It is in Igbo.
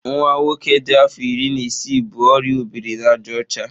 Nwa nwoke dị afọ iri na isii bu oria ọ biri na àjà ọcha.